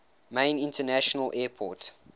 main international airport